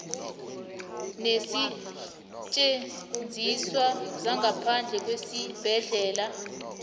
neensetjenziswa zangaphandle kwesibhedlela